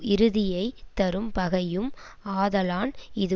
இறுதியைத் தரும் பகையும் ஆதலான் இது